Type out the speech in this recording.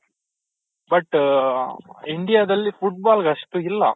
but India ದಲ್ಲಿ football ಗೆ ಅಷ್ಟು ಇಲ್ಲ